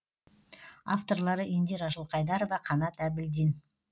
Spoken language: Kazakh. авторлары индира жылқайдарова қанат әбілдин